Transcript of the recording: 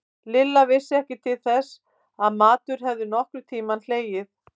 Lilla vissi ekki til þess að matur hefði nokkurn tímann hlegið.